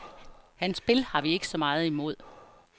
Hans spil har vi ikke så meget imod.